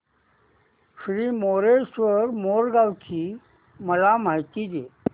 श्री मयूरेश्वर मोरगाव ची मला माहिती दे